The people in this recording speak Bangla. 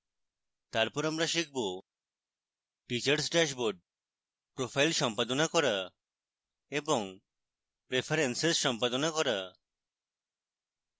তারপর আমরা শিখব: